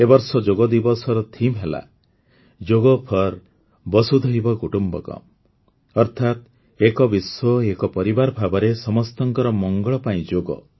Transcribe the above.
ଏ ବର୍ଷ ଯୋଗଦିବସର ବିଷୟବସ୍ତୁ ହେଲା ଯୋଗ ଫୋର ଭାସୁଧାଇବା କୁଟୁମ୍ବକମ୍ ଅର୍ଥାତ୍ ଏକ ବିଶ୍ୱଏକ ପରିବାର ଭାବରେ ସମସ୍ତଙ୍କର ମଙ୍ଗଳ ପାଇଁ ଯୋଗ